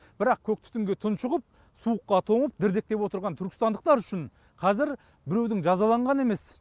бірақ көк түтінге тұншығып суыққа тоңып дірдектеп отырған түркістандықтар үшін қазір біреудің жазаланғаны емес